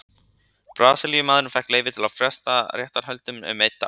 Brasilíumaðurinn fékk leyfi til að fresta réttarhöldunum um einn dag.